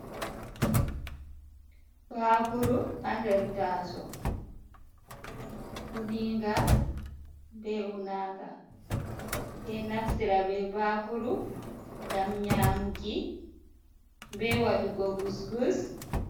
Baakuru ha nder taasawo, uniinga, be unaaka. Ɓe ɗo naftira be baakuru ngam nyaamuki, be waɗugo gus-gus.